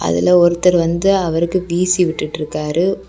அதுல ஒருத்தர் வந்து அவருக்கு வீசிவிட்டுட்டு இருக்காரு.